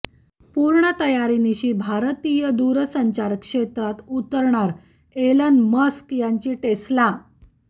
पुर्ण तयारीनिशी भारतीय दुरसंचार क्षेत्रात उतरणार एलन मस्क यांची टेस्ला